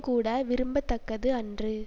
கூட விரும்ப தக்கது அன்று